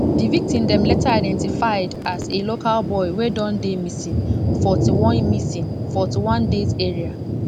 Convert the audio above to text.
di victim dem later identified as a local boy wey don dey missing forty-one missing forty-one days earlier